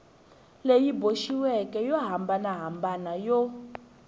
leyi boxiweke yo hambanahambana yo